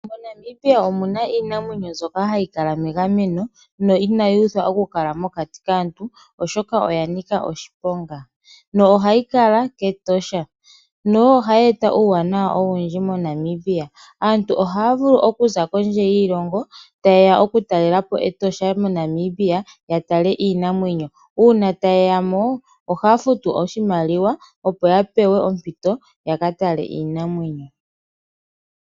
MoNamibia omu na iinamwenyo mbyoka hayi kala megameno no inayi uthwa okukala mokati kaantu, oshoka oya nika oshiponga nohayi kala kEtosha. Ohayi eta uuwanawa owundji moNamibia. Aantu ohaya vulu okuza kondje yiilongo taye ya okutalela po Etosha moNamibia ya tale iinamwenyo. Uuna taye ya mo ohaya futu oshimaliwa, opo ya pewe ompito ya ka tale iinamwenyo.